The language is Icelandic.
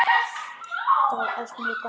Þetta var allt mjög gaman.